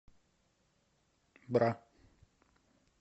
бра